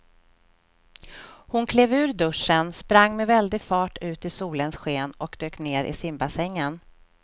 Hon klev ur duschen, sprang med väldig fart ut i solens sken och dök ner i simbassängen.